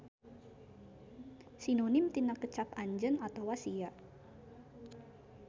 Sinonim tina kecap anjeun atawa sia.